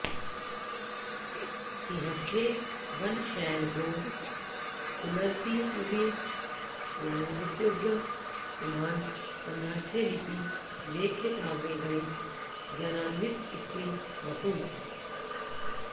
सिंहस्थे वन शैल गो कुलरतिर्वीर्यान्वितोऽज्ञः पुमान् कन्यास्थे लिपि लेख्य काव्य गणित ज्ञानान्वितः स्त्री वपुः